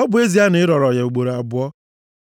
ọ bụ ezie na ị rọrọ ya ugboro abụọ.